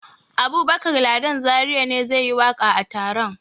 Abubakar Ladan Zariya ne zai yi waƙa a taron.